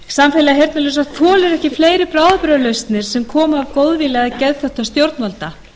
samfélag heyrnarlausra þolir ekki fleiri bráðabirgðalausnir sem eru sprottnar af góðvilja eða geðþótta stjórnvalda